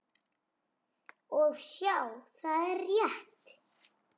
Og sjá, það er rétt.